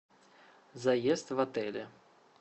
заезд в отеле